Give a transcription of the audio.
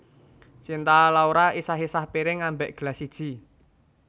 Cinta Laura isah isah piring ambek gelas siji